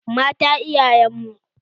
Mata iyayen mu.